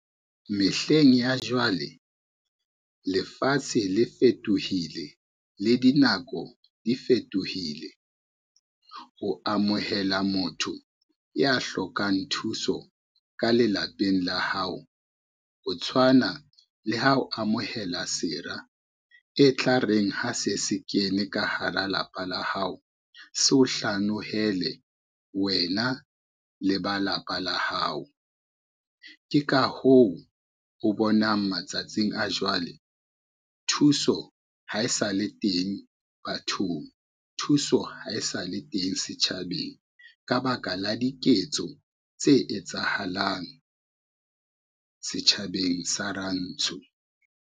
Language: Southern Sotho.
Mehleng ya jwale, lefatshe le fetohile le dinako di fetohile. Ho amohela motho ya hlokang thuso ka lelapeng la hao, ho tshwana le ha o amohela sera e tla reng ha se se kene ka hara lapa la hao, se o hlanohele wena le ba lapa la hao. Ke ka hoo o bonang matsatsing a jwale thuso ha e sa le teng bathong, thuso ha e sa le teng setjhabeng ka ba ka la diketso tse etsahalang, setjhabeng sa rantsho.